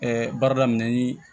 baara daminɛ ni